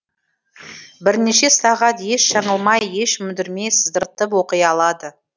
бірнеше сағат еш жаңылмай еш мүдірмей сыдыртып оқи алады